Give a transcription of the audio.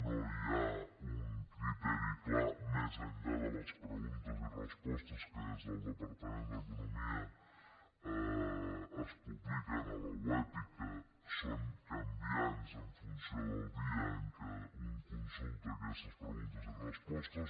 no hi ha un criteri clar més enllà de les preguntes i respostes que des del departament d’economia es publiquen a la web i que són canviants en funció del dia en què un consulta aquestes preguntes i respostes